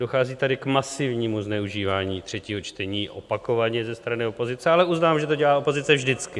Dochází tady k masivnímu zneužívání třetího čtení opakovaně ze strany opozice, ale uznávám, že to dělá opozice vždycky.